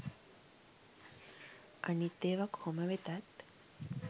අනිත් ඒව කොහොම වෙතත්